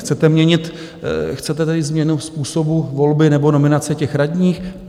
Chcete tedy změnu způsobu volby nebo nominace těch radních?